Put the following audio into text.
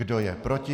Kdo je proti?